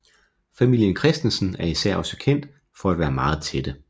Familien Christensen er især også kendt for at være meget tætte